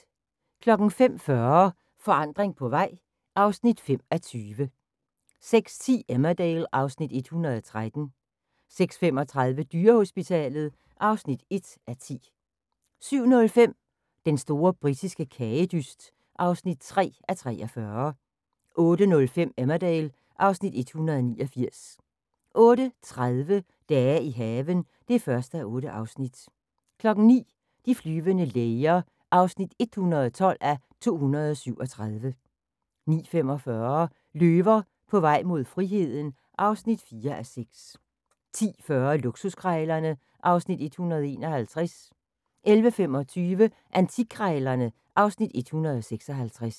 05:40: Forandring på vej (5:20) 06:10: Emmerdale (Afs. 113) 06:35: Dyrehospitalet (1:10) 07:05: Den store britiske kagedyst (3:43) 08:05: Emmerdale (Afs. 189) 08:30: Dage i haven (1:8) 09:00: De flyvende læger (112:237) 09:45: Løver på vej mod friheden (4:6) 10:40: Luksuskrejlerne (Afs. 151) 11:25: Antikkrejlerne (Afs. 156)